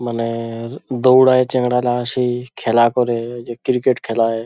মানের দৌড়ায় চ্যাংড়ালা সেই খেলা করে যে ক্রিকেট খেলায়।